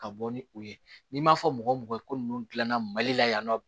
Ka bɔ ni u ye n'i m'a fɔ mɔgɔ mɔgɔ ko ninnu dilanna mali la yan nɔ